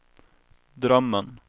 drömmen